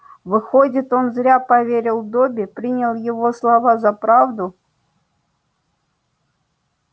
выходит он зря поверил добби принял его слова за правду